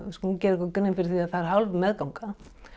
skulum gera okkur grein fyrir því að það er hálf meðganga